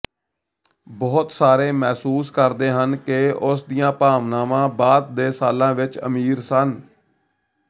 ਬਹੁਤ ਸਾਰੇ ਮਹਿਸੂਸ ਕਰਦੇ ਹਨ ਕਿ ਉਸ ਦੀਆਂ ਭਾਵਨਾਵਾਂ ਬਾਅਦ ਦੇ ਸਾਲਾਂ ਵਿੱਚ ਅਮੀਰ ਸਨ